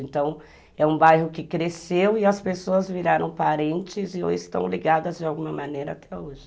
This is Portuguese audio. Então, é um bairro que cresceu e as pessoas viraram parentes e hoje estão ligadas de alguma maneira até hoje.